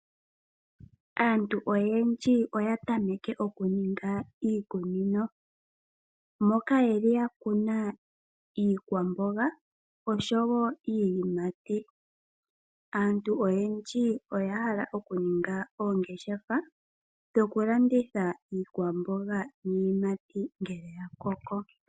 Aantu oyendji oya tameke okuninga iikunino. Moka ye li ya kuna iikwamboga oshowo iiyimati. Aantu oyendji oya hala okuninga oongeshefa dhokulanditha iikwamboga niiyimati ngele ya koko.